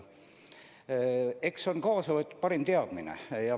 Eks on lähtutud parimast teadmisest.